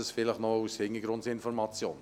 Dies noch als Hintergrundinformation.